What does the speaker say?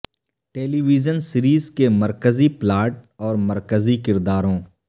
ٹیلی vision series کے مرکزی plot اور مرکزی کرداروں